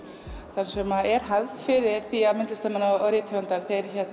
þar sem er hefð fyrir því að myndlistarmenn og rithöfundar